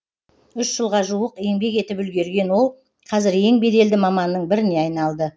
үш жылға жуық еңбек етіп үлгерген ол қазір ең беделді маманның біріне айналды